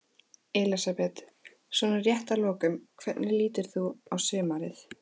Elísabet: Svona rétt að lokum, hvernig lítur þú á sumarið?